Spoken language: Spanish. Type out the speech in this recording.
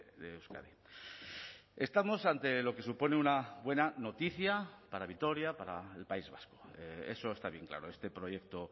de euskadi estamos ante lo que supone una buena noticia para vitoria para el país vasco eso está bien claro este proyecto